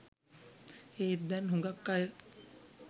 ඒත් දැන් හුඟක් අය